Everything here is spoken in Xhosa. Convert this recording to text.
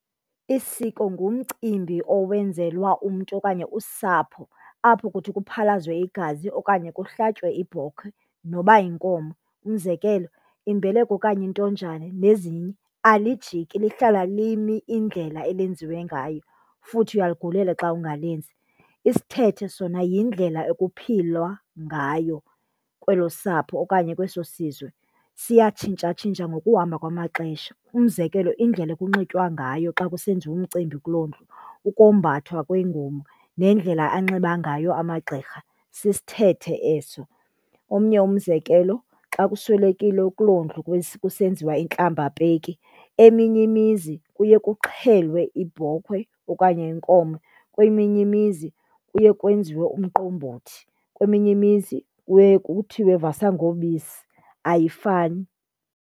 Isiko ngumcimbi owenzelwa umntu okanye usapho apho kuthi kuphalazwe igazi okanye kuhlatywe ibhokhwe noba yinkomo. Umzekelo, imbeleko okanye intonjane nezinye. Alijiki lihlala limi indlela elenziwe ngayo, futhi uyaligulela xa ungalenzi. Isithethe sona yindlela ekuphilwa ngayo kwelo sapho okaye kweso sizwe, siyatshintshatshintsha ngokuhamba kwamaxesha. Umzekelo, indlela ekunxitywa ngayo xa kusenziwa umcimbi kuloo ndlu, ukombathwa kwengubo nendlela anxiba ngayo amagqirha, sisithethe eso. Omnye umzekelo, xa kuswelekiwe kuloo ndlu kusenziwa intlambapeki eminye imizi kuye kuxhelwe ibhokhwe okanye inkomo, kweminye imizi kuye kwenziwe umqombothi, kweminye imizi kuye kuthiwe vasa ngobisi, ayifani.